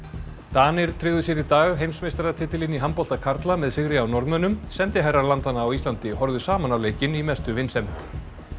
Danir tryggðu sér í dag heimsmeistaratitilinn í handbolta karla með sigri á Norðmönnum sendiherrar landanna á Íslandi horfðu saman á leikinn í mestu vinsemd